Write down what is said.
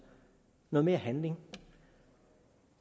noget mere handling